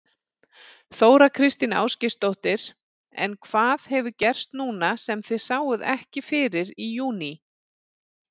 Þóra Kristín Ásgeirsdóttir: En hvað hefur gerst núna sem þið sáuð ekki fyrir í júní?